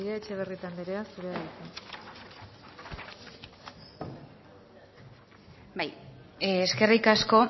ordezkaria etxebarrieta andrea zurea da hitza bai eskerrik asko